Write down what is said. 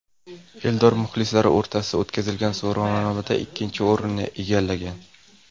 Eldor muxlislar o‘rtasida o‘tkazilgan so‘rovnomada ikkinchi o‘rinni egallagan.